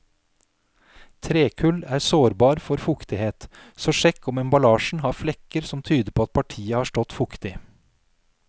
Trekull er sårbar for fuktighet, så sjekk om emballasjen har flekker som tyder på at partiet har stått fuktig.